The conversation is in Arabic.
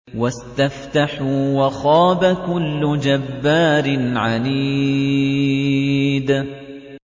وَاسْتَفْتَحُوا وَخَابَ كُلُّ جَبَّارٍ عَنِيدٍ